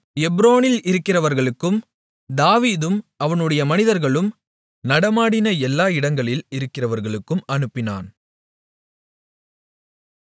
எப்ரோனில் இருக்கிறவர்களுக்கும் தாவீதும் அவனுடைய மனிதர்களும் நடமாடின எல்லா இடங்களில் இருக்கிறவர்களுக்கும் அனுப்பினான்